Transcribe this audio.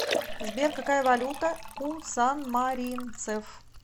сбер какая валюта у санмаринцев